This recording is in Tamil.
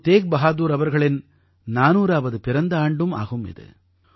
குரு தேக்பஹாதுர் அவர்களின் 400ஆவது பிறந்த ஆண்டும் ஆகும் இது